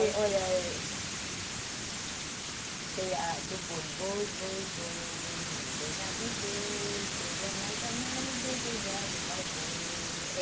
Tem, olha... Tem a do boi, boi, boi, boi, morena viver, chega na janela o desejado vai morrer.